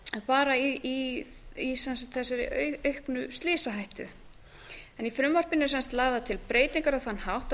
bara í þessari auknu slysahættu í frumvarpinu eru lagðar til breytingar á þann hátt að